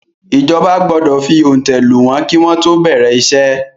ìjọba gbọdọ fi òǹtẹ̀ lù wọ́n kí wọ́n tó bẹ̀rẹ̀ iṣẹ́.